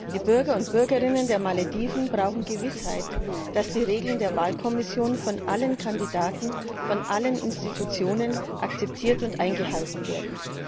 Die Bürgerinnen und Bürger der Malediven brauchen Gewissheit, dass die Regeln der Wahlkommission von allen Kandidaten, von allen Institutionen akzeptiert und eingehalten werden.